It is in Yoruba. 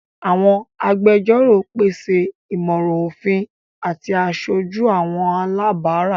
Àwọn àgbẹjọro pese imọran ofin ati àṣoju àwọn alabara.